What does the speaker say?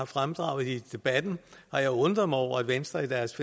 fremdraget i debatten og undret mig over at venstre i deres